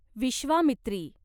Vishwamitri